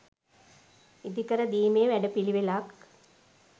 ඉදි කර දීමේ වැඩ පිළිවෙලක්